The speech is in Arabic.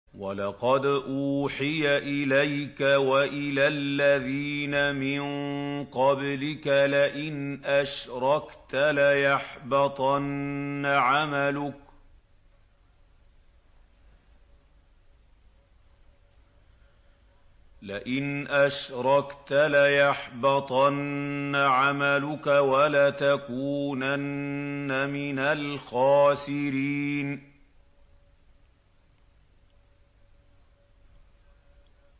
وَلَقَدْ أُوحِيَ إِلَيْكَ وَإِلَى الَّذِينَ مِن قَبْلِكَ لَئِنْ أَشْرَكْتَ لَيَحْبَطَنَّ عَمَلُكَ وَلَتَكُونَنَّ مِنَ الْخَاسِرِينَ